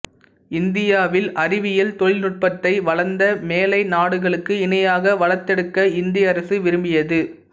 இந்தியாவில் அறிவியல் தொழில்நுட்பத்தை வளர்ந்த மேலை நாடுகளுக்கு இணையாக வளர்த்தெடுக்க இந்திய அரசு விரும்பியது